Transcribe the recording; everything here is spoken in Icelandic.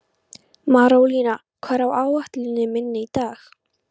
Marólína, hvað er á áætluninni minni í dag?